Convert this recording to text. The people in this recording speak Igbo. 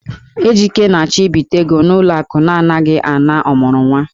Ejike na-achọ ibite ego n'ụlọ akụ na-anaghị ana ọmụrụnwa.